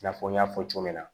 I n'a fɔ n y'a fɔ cogo min na